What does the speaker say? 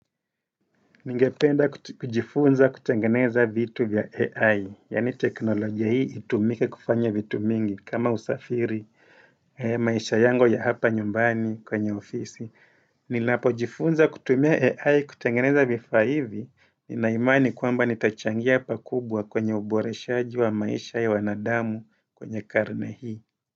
Ningependa kujifunza kutangeneza vitu vya AI, yani teknolojia hii itumike kufanya vitu mingi kama usafiri maisha yangu ya hapa nyumbani kwenye ofisi. Ninapo jifunza kutumia AI kutangeneza vifa hivi nina imani kwamba nitachangia pakubwa kwenye uboreshaji wa maisha ya wanadamu kwenye karne hii.